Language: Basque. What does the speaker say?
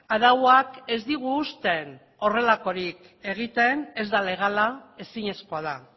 arauak ez digu usten horrelakorik egiten ez da legala ezinezkoa da